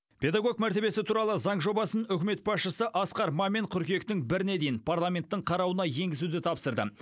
педагог мәртебесі туралы заң жобасын үкімет басшысы асқар мамин қыркүйектің біріне дейін парламенттің қарауына енгізуді тапсырды